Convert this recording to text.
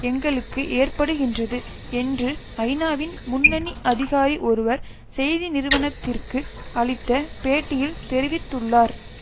எங்களுக்கு ஏற்படுகின்றது என்று ஐநாவின் முன்னணி அதிகாரி ஒருவர் செய்தி நிறுவனத்திற்கு அளித்த பேட்டியில் தெரிவித்துள்ளார்